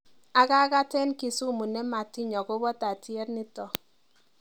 Akakat eng Kisumu nematiny akobo tatyet nito.